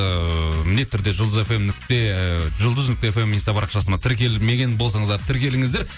ыыы міндетті түрде ы жұлдыз нүкте фм инста парақшасына тіркелмеген болсаңыздар тіркеліңіздер